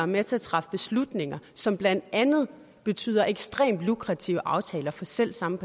med til at træffe beslutninger som blandt andet betyder ekstremt lukrative aftaler for selv samme